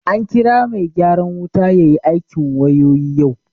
An kira mai gyaran wuta ya yi aikin wayoyi yau